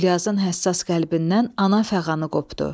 Gülyazın həssas qəlbindən ana fəğanı qopdu.